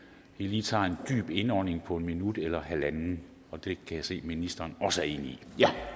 vi tager lige en dyb indånding på et minut eller halvandet og det kan se at ministeren også er enig